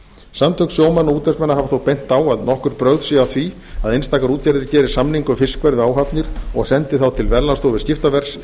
samtök sjómanna og útvegsmanna hafa þó bent á að nokkur brögð séu að því að einstakar útgerðir geri samninga um fiskverð og áhafnir og sendi þá til verðlagsstofu skiptaverðs